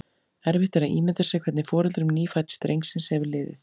Erfitt er að ímynda sér hvernig foreldrum nýfædds drengsins hefur liðið.